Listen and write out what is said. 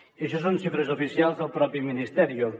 i això són xifres oficials del propi ministerio